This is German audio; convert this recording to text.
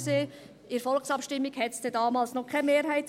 in der Volksabstimmung gab es damals noch keine Mehrheit.